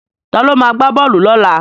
Ta ló ma gbá bọ́ọ̀lù lọ́la?